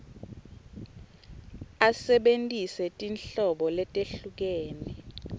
asebentise tinhlobo letehlukene